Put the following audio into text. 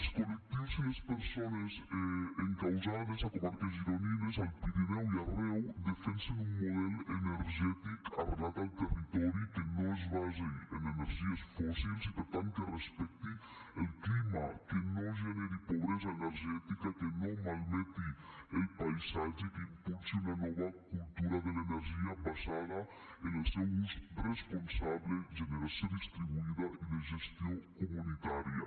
els col·lectius i les persones encausades a comarques gironines al pirineu i arreu defensen un model energètic arrelat al territori que no es basi en energies fòssils i per tant que respecti el clima que no generi pobresa energètica que no malmeti el paisatge que impulsi una nova cultura de l’energia basada en el seu ús responsable generació distribuïda i de gestió comunitària